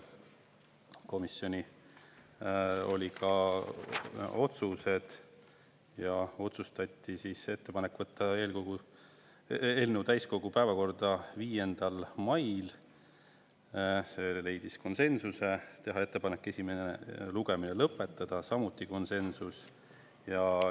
Komisjonis oli ka otsused ja otsustati teha ettepanek võtta eelnõu täiskogu päevakorda 5. mail, see leidis konsensuse, teha ettepanek esimene lugemine lõpetada, samuti konsensus.